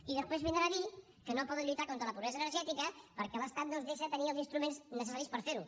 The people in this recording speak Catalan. i després vindrà a dir que no poden lluitar contra la pobresa energètica perquè l’estat no els deixa tenir els instruments necessaris per fer ho